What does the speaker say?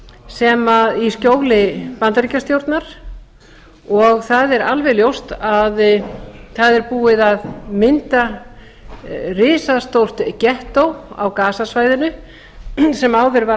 múrs í skjóli bandaríkjastjórnar og það er alveg ljóst að það er búið að mynda risastórt gettó á gazasvæðinu sem áður var